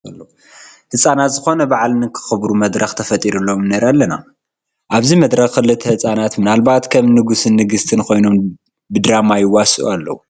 ህፃናት ዝኾነ በዓል ንኸኽብሩ መድረኽ ተፈጢሩሎም ንርኢ ኣለና፡፡ ኣብዚ መድረኽ ክልተ ህፃውንቲ ምናልባት ከም ንጉስን ንግስትን ኮይኖም ብድራማ ይዋስኡ ኣለዉ፡፡